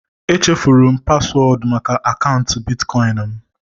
Echefuru m paswọọdụ maka akaụntụ Bitcoin m